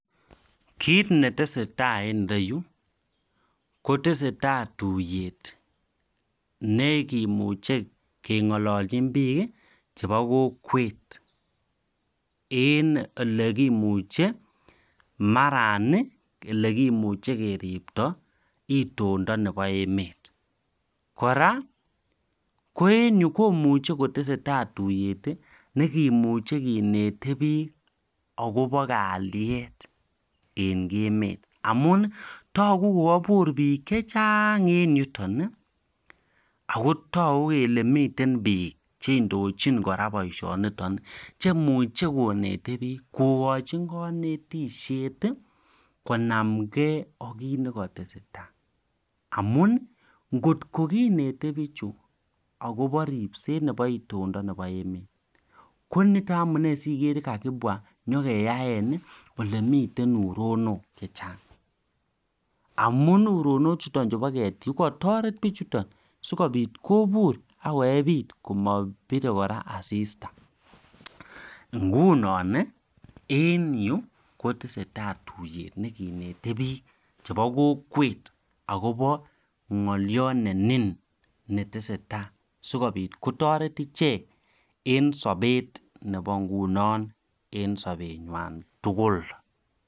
Kit nesetai en ireyuu kotestai tuyet nekimuche kengololjin bik kii chebo kokwet en olekimuche maran nii olekimuche keripto itondo nebo emet, koraa ko en yuu komuche kotestai tuyet tii nekimuche kinetet bik akobo Kalyet en emet amun toku ko kobur bik chechang en yuton nii akotoku kele miten bik cheindochin koraa boishonoton cheimuche kinete bik kokochi konetishet konamgee ok kit neketesentai amun kotko kinete bichu akobo ripset nebo itondo nebo emet koniton miten amunee Kakobwa sinyokeyaen nii olemiten uronok chechang amun uronok chuton chubo ketik ko kotoret bichuton sikopit kobur ak koyepit komopire koraa asista. Nguno nii en yuu kotestai tuyet nekineten bik chebo kokwet akobo ngoliot nenin netesetai sikopit kotoret ichek en sobet nebo nguno en sobenywan tukuk.